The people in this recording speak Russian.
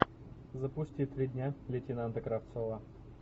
запусти три дня лейтенанта кравцова